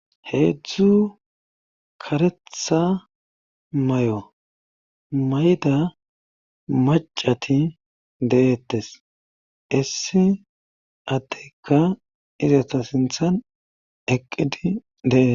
Heedzdzu karetha may'o mayda macati deeettes issi adeyka izata sinthan eqqidi deees